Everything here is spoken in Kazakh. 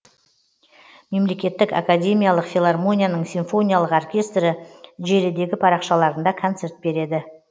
мемлекеттік академиялық филармонияның симфониялық оркестрі желідегі парақшаларында концерт береді